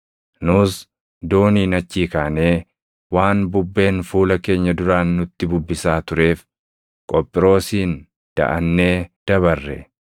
Nus dooniin achii kaanee waan bubbeen fuula keenya duraan nutti bubbisaa tureef Qophiroosiin daʼannee dabarre.